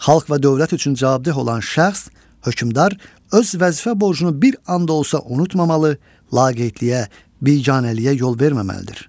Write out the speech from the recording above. Xalq və dövlət üçün cavabdeh olan şəxs, hökmdar öz vəzifə borcunu bir an da olsa unutmamalı, laqeydliyə, biganəliyə yol verməməlidir.